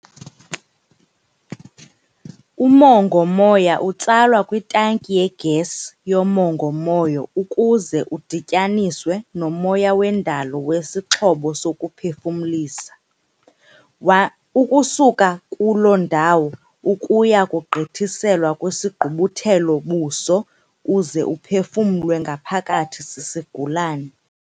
Umongo-moya utsalwa kwitanki yegesi yomongo-moya uze udityaniswe nomoya wendalo kwisixhobo sokuphefumlisa, ukusuka kulo ndawo ukuya kugqithiselwa kwisigqubuthelo-buso uze uphefumlelwe ngaphakathi sisigulane.